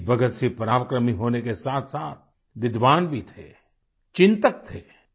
शहीद भगतसिंह पराक्रमी होने के साथसाथ विद्वान भी थे चिन्तक थे